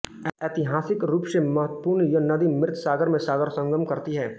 एतिहासिक रूप से महत्वपूर्ण यह नदी मृत सागर में सागरसंगम करती है